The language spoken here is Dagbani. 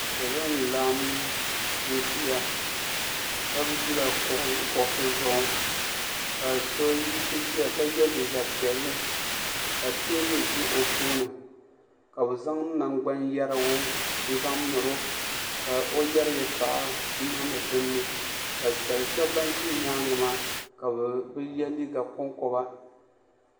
Salo n laɣim ziya shɛba zila kuɣusi zuɣu ka so yisi ziya ka ye liiga piɛlli ka tɛɛbuli zɛ o tooni ka bi zaŋ namgbani yiɛrigu n zaŋ miri o ka o yiɛri yɛtɔɣa n nimdi dinni ka shɛba bini zi yɛanga maa ka bi ye liiga kom koba.